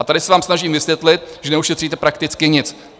A tady se vám snažím vysvětlit, že neušetříte prakticky nic.